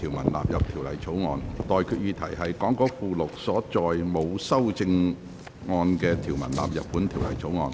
我現在向各位提出的待決議題是：講稿附錄所載沒有修正案的條文納入本條例草案。